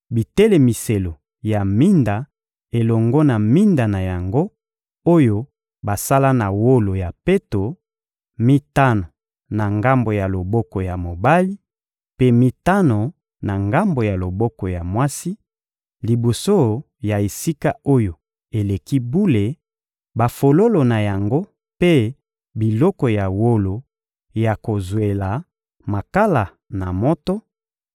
bitelemiselo ya minda elongo na minda na yango, oyo basala na wolo ya peto, mitano na ngambo ya loboko ya mobali, mpe mitano na ngambo ya loboko ya mwasi, liboso ya Esika-Oyo-Eleki-Bule, bafololo na yango mpe biloko ya wolo ya kozwela makala na moto,